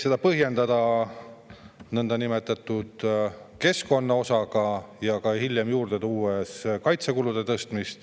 Seda põhjendati nõndanimetatud keskkonnaosaga ja hiljem toodi juurde kaitsekulude tõstmine.